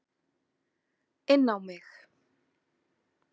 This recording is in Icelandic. Inn á mig.